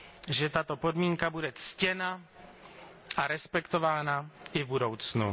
že tato podmínka bude ctěna a respektována i v budoucnu.